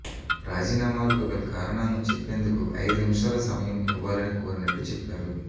రాజీనామాలకు గల కారణాలను చెప్పేందుకు ఐదు నిమిషాల సమయం ఇవ్వాలని కోరినట్టు చెప్పారు